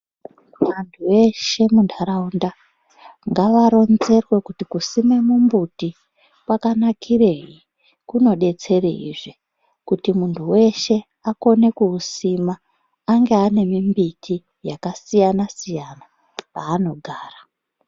Vantu veshe mundaraunda ngavaronzerwa kuti kusima mumbuti kwakanakirei kumodetserei zve kuti muntu weshe akone kuisima ange ane mimbiti yakasiyana-siyana panogara.